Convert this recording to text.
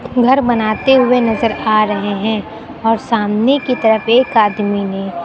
घर बनाते हुए नजर आ रहे हैं और सामने की तरफ एक आदमी ने--